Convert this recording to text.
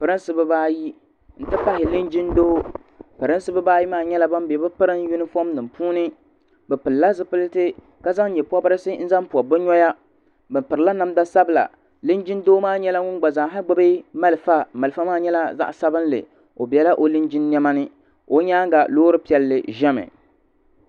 Pirinsi bibaayi n ti pahi linjin 'doo pirinsi bibaayi maa bela bɛ pirinsi yunifom nima puuni bɛ pilila zipilti ka zaŋ nyepobrisi n zaŋ pobi bɛ noya bɛ pirila namda sabila linjin'doo maa nyɛla ŋun gba zaaha gbibi marafa marafa maa nyɛla zaɣa sabinli o bela o linjin niɛmani o nyaanga loori piɛlli ʒɛmi.